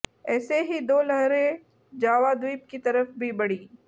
ऐसी ही दो लहरें जावा द्वीप की तरफ भी बढ़ीं